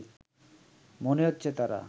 মনে হচ্ছে তারা